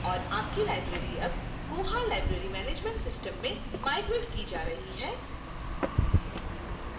और आपकी library अब koha library management system में migrated की जा रही है